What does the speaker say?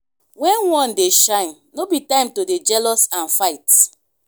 wen one dey shine no be time to dey jealous and fight.